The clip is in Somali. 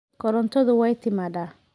Korontadu way timaaddaa.